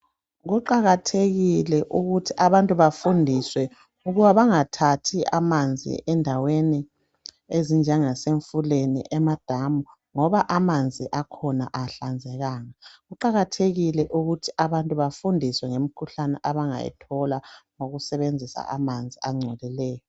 Kuqakathekile ukuthi abantu bafundiswe ukuba bangathathi amanzi endaweni ezinjengase mifuleni ,emadamu .Ngoba amanzi akhona awahlanzekanga . Kuqakathekile ukuthi abantu bafundiswe ngemikhuhlane abangayithola ngokusebenzisa amanzi angcolileyo .